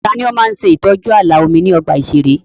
Ta ni ó ń ṣe ìtọ́jú ààlà omi ní ọgbà ìṣeré?